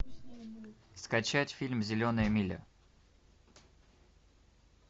скачать фильм зеленая миля